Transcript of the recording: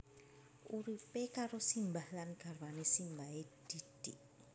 Uripe karo simbah lan garwane simbahe Didik